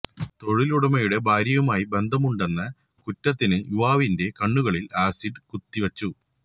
തൊഴിലുടമയുടെ ഭാര്യയുമായി ബന്ധമുണ്ടെന്ന എന്ന കുറ്റത്തിന് യുവാവിന്റെ കണ്ണുകളില് ആസിഡ് കുത്തിവച്ചു